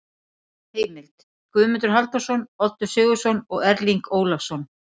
Heimild: Guðmundur Halldórsson, Oddur Sigurðsson og Erling Ólafsson.